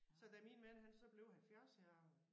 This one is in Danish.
Så da min mand han så blev 70 her